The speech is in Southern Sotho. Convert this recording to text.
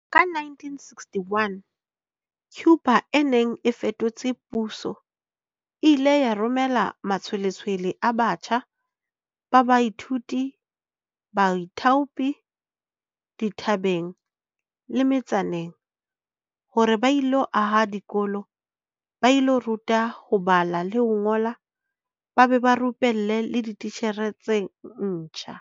Ka 1961, Cuba e neng e fetotse puso e ile ya romela matshwe-letshwele a batjha ba baithuti ba baithaopi dithabeng le me-tsaneng hore ba ilo aha dikolo, ba ilo ruta ho bala le ho ngola ba be ba rupelle le dititjhere tse ntjha.